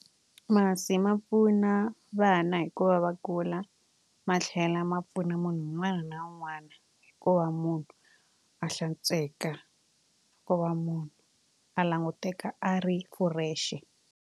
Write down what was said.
Masi ma pfuna vana hikuba va kula ma tlhela ma pfuna munhu un'wana na un'wana ku va munhu a hlantsweka ku va munhu a languteka a ri fresh.